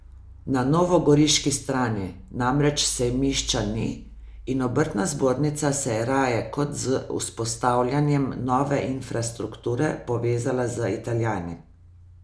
Na novogoriški strani namreč sejmišča ni in obrtna zbornica se je raje kot z vzpostavljanjem nove infrastrukture povezala z Italijani.